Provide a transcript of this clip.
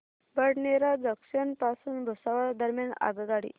Badnera junction पासून भुसावळ दरम्यान आगगाडी